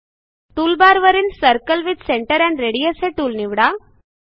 टूलबारवरील circle with centre and radius हे tool निवडा